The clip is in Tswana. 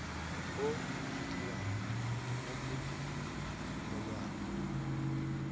o umakiwang mo go molawana